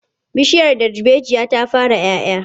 Bishiyar darbejiya ta fara 'ya 'ya.